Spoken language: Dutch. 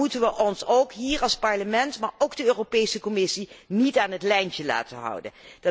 Maar dan moeten wij ons ook hier als Parlement, maar ook als Europese Commissie, niet aan het lijntje laten houden.